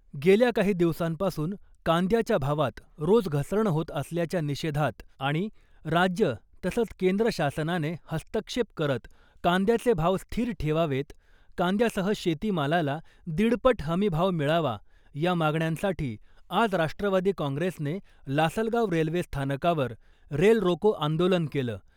गेल्या काही दिवसांपासून कांद्याच्या भावात रोज घसरण होत असल्याच्या निषेधात आणि राज्य तसंच केंद्र शासनाने हस्तक्षेप करत कांद्याचे भाव स्थिर ठेवावेत, कांद्यासह शेतीमालाला दीडपट हमी भाव मिळावा या मागण्यांसाठी आज राष्ट्रवादी काँग्रेसने लासलगाव रेल्वे स्थानकावर रेल रोको आंदोलन केलं .